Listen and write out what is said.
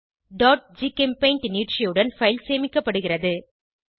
gchempaint நீட்சியுடன் file சேமிக்கப்படுகிறது